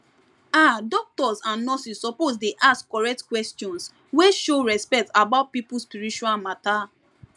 ah doctors and nurses suppose dey ask correct questions wey show respect about people spiritual matter